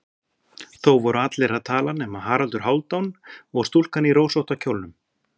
Þó voru allir að tala nema Haraldur Hálfdán og stúlkan í rósótta kjólnum.